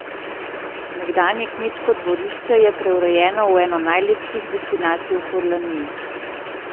Nekdanje kmečko dvorišče je preurejeno v eno najlepših destinacij v Furlaniji.